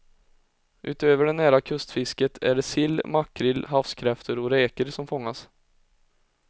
Utöver det nära kustfisket är det sill, makrill, havskräftor och räkor som fångas.